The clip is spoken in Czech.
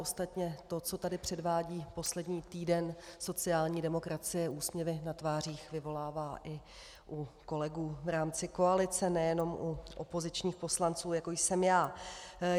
Ostatně to, co tady předvádí poslední týden sociální demokracie, úsměvy na tvářích vyvolává i u kolegů v rámci koalice, nejenom u opozičních poslanců, jako jsem já.